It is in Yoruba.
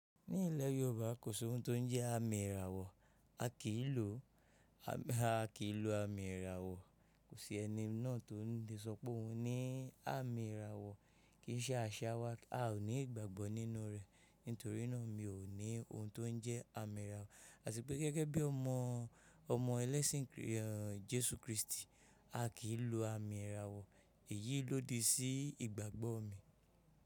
Ní ilẹ̀ Yorùbá, kò sí ohun tó ń jẹ́ àmì ìràwọ̀. A kì í lo àmì ìràwọ̀. Kò sí ẹni náà tó lè sọ pé òun ní àmì ìràwọ̀ ké í ṣe àṣéwá. A ò ní ìgbàgbọ́ nínú rẹ̀. Nítorínà mi ò ní ohun tó ń jẹ́ àmì ìràwọ̀. Àti pé gẹ́gẹ́ bí ọmọ ẹlẹ́sìn Jésù Krístì, a kì í lo àmì ìràwọ̀. Èyí ló di sí ìgbàgbọ́ mi.